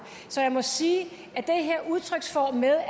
så jeg må sige